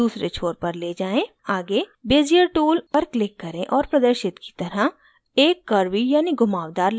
आगे bezier tool पर click करें और प्रदर्शित की तरह एक curvy यानि घुमावदार line बनाएं